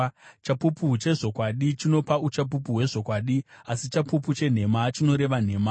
Chapupu chezvokwadi chinopa uchapupu hwezvokwadi, asi chapupu chenhema chinoreva nhema.